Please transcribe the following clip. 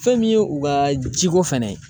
Fɛn min ye u ka jiko fɛnɛ ye.